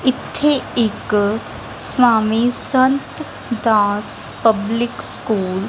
ਇੱਥੇ ਇੱਕ Swami Sant Das public school --